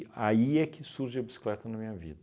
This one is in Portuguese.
aí é que surge a bicicleta na minha vida.